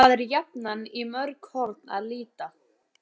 Það er jafnan í mörg horn að líta.